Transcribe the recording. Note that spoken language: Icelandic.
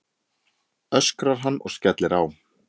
öskrar hann og skellir á.